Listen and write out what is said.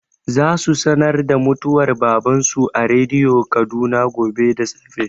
Za su sanar da mutuwar baban su a rediyo Kaduna gobe da safe.